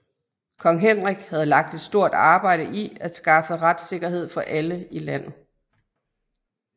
Kong Henrik havde lagt et stort arbejde i at skaffe retssikkerhed for alle i landet